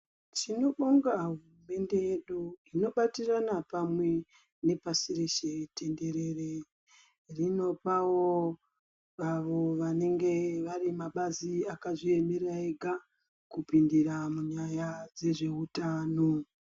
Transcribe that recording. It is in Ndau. Tinobonga hurumende yedu inobatirana pamwe nepasi reshe tenderere. Rinopawo awo vanenge vari mabazi akazviemera ega kupindira munyaya dzezvehutano.